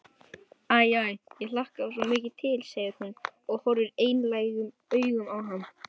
Æ, æ, ég hlakkaði svo mikið til, segir hún og horfir einlægum augum á hann.